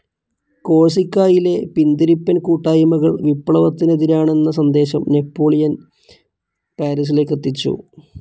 കോഴ്‌സിക്കായിലെ പിന്തിരപ്പൻ കൂട്ടായ്മകൾ വിപ്ലവത്തനെതിരാണെന്ന സന്ദേശം നാപ്പോളിയൻസ്‌ പാരീസിലേക്കെത്തിച്ചു.